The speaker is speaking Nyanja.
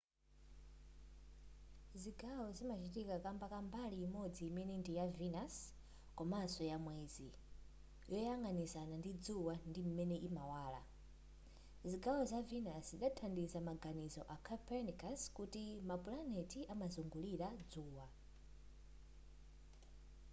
zigawo zimachitika kamba ka mbali imodzi imene ndiya venus komanso ya mwezi yoyang'anizana ndi dzuwa ndi imene imawala. zigawo za venus zidathandiza maganizo a copernicus akuti ma pulaneti amazungulira dzuwa